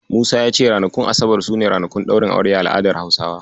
Musa ya ce ranakun asabar su ne ranakun ɗaurin aure a al'adar Hausawa.